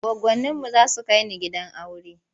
Goggoninmu za su kai ni gidan aure.